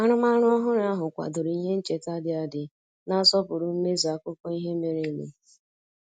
Arụmarụ ọhụrụ ahụ kwadoro ihe ncheta dị adị na-asọpụrụ mmezu akụkọ ihe mere eme